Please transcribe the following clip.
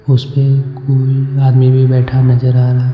उस पे कोई आदमी भी बैठा नजर आ रहा है.